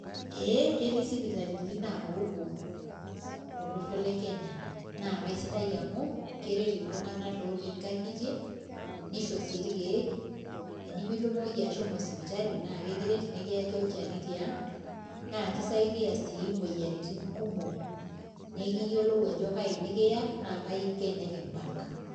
Ee ketii sipitalini naapopuo tolosho le kenya. naa kisidai amu keret iltunganak lotii nkang'itie. nisho sii ilkeek, tenemitumoki ashomo sipitali. naa ekiret, nikiyaki olchani tiang'.naa kisidai sii imoyiaritin kumok. naa ekiyiolou ajo kaji. nikiya naa kaji iko enikibak.